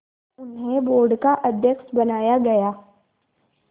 उन्हें बोर्ड का अध्यक्ष बनाया गया